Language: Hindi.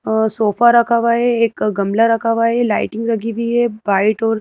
अ सोफा रखा हुआ है एक ग-गमला रखा हुआ है लाइटिंग लगी हुई है व्हाइट और --